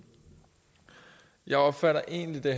jeg opfatter egentlig